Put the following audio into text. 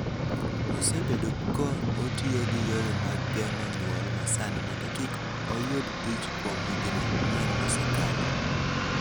osebedo ka otiyo gi yore mag geng�o nyuol ma sani mondo kik oyud ich kuom higni ang�wen mosekalo,